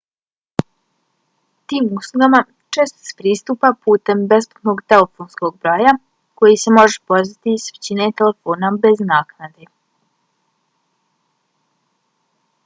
tim uslugama često se pristupa putem besplatnog telefonskog broja kojij se može pozvati s većine telefona bez naknade